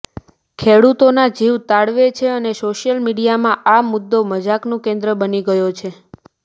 ખેડૂતોના જીવ તાળવે છે અને સોશિયલ મીડિયામાં આ મુદ્દો મજાકનું કેન્દ્ર બની ગયો છે